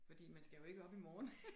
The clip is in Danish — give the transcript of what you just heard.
Fordi man skal jo ikke op i morgen